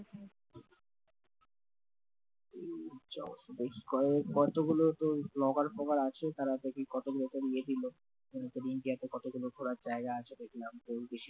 উম বেশ কয়েক কতগুলোতো blogger আছে তারা দেখি কতরকম কতগুলো ঘোরার জায়গা আছে দেখলাম তো বেশিরভাগ